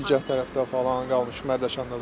Bilgə tərəfdə falan qalmışıq Mərdəkanda da.